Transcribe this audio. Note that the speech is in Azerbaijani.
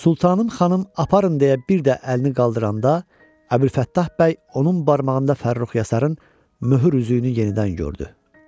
Sultanım xanım aparın deyə bir də əlini qaldıranda Əbülfəttah bəy onun barmağında Fərrux Yasarın möhür üzüyünü yenidən gördü.